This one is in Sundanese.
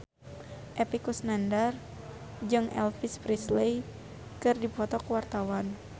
Epy Kusnandar jeung Elvis Presley keur dipoto ku wartawan